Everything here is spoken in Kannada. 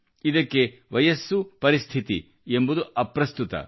ಇದಕ್ಕೆ ವಯಸ್ಸು ಪರಿಸ್ಥಿತಿ ಎಂಬುದು ಅಪ್ರಸ್ತುತ